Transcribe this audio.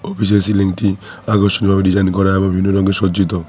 অফিসের সিলিংটি আকর্ষণীয় ভাবে ডিজাইন করা এবং বিভিন্ন রঙে সজ্জিত।